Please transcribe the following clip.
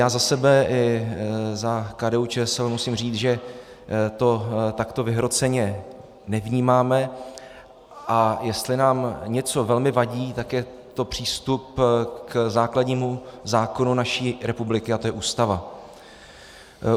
Já za sebe i za KDU-ČSL musím říct, že to takto vyhroceně nevnímáme, a jestli nám něco velmi vadí, tak je to přístup k základnímu zákonu naší republiky a tím je Ústava.